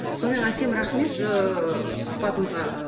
сонымен әсем рахмет сұхбатыңызға